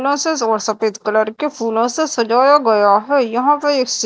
और सफेद कलर के फूलों से सजाया गया है यहां पे एक--